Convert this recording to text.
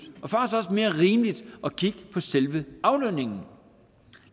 og mere rimeligt at kigge på selve aflønningen